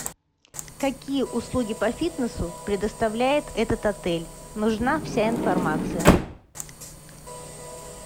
какие услуги по фитнесу предоставляет этот отель нужна вся информация